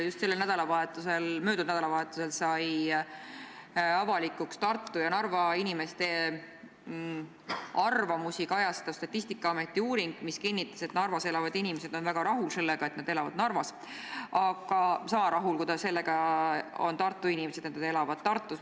Just möödunud nädalavahetusel sai avalikuks Tartu ja Narva inimeste arvamusi kajastav Statistikaameti uuring, mis kinnitas, et Narvas elavad inimesed on väga rahul sellega, et nad elavad Narvas – nad on sama rahul, kui on Tartu inimesed, et nad elavad Tartus.